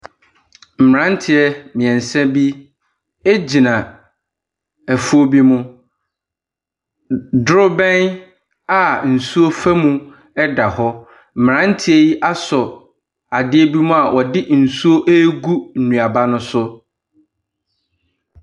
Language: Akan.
Mmranteɛ mmiɛnsa bi gyina afuo bi mu. Drobɛn a nsuo fa mu da hɔ. Mmranteɛ yi asɔ adeɛ bi mu a wɔde nsuo regu nnuaba no so.